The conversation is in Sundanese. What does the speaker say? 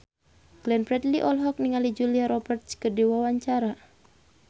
Glenn Fredly olohok ningali Julia Robert keur diwawancara